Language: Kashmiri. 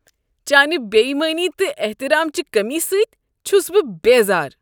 چانہ بے ایمٲنی تہٕ احترام چہ کٔمی سۭتۍ چھس بہ بیزار۔